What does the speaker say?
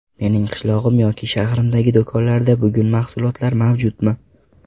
Mening qishlog‘im yoki shahrimdagi do‘konlarda bugun mahsulotlar mavjudmi?